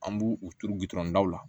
An b'u u turu gudɔrɔn da la